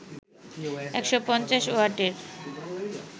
১৫০ ওয়াটের